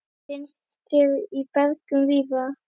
Finnst hér í berginu víða.